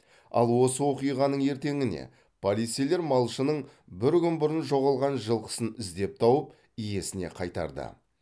ал осы оқиғаның ертеңіне полицейлер малшының бір күн бұрын жоғалған жылқысын іздеп тауып иесіне қайтарды